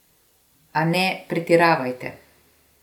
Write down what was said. A ne pretiravajte.